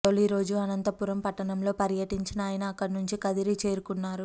తొలిరోజు అనంతపురం పట్టణంలో పర్యటించిన ఆయన అక్కడి నుంచి కదిరి చేరుకున్నారు